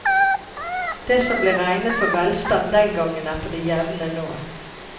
Det som ble regnet for velstand den gangen er på det jevne nå.